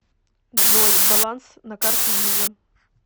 джой баланс на карте виза